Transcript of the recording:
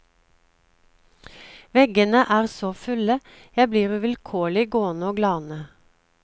Veggene er så fulle, jeg blir uvilkårlig gående å glane.